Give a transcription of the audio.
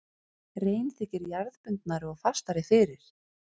Rein þykir jarðbundnari og fastari fyrir.